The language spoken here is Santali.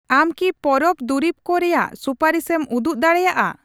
ᱟᱢ ᱠᱤ ᱯᱚᱨᱚᱵ ᱫᱩᱨᱤᱵᱠᱚ ᱨᱮᱭᱟᱜ ᱥᱩᱯᱟᱹᱨᱤᱥᱮᱢ ᱩᱫᱩᱜ ᱫᱟᱲᱮᱭᱟᱜᱼᱟ ?